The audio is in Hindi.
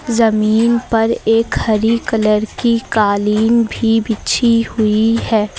ज़मीन पर एक हरी कलर की कालीन भी बिछी हुई है।